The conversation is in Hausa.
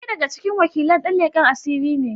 Ɗaya daga cikin wakilan dan leken asiri ne.